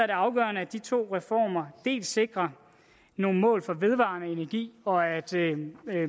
det afgørende at de to reformer dels sikrer nogle mål for vedvarende energi og at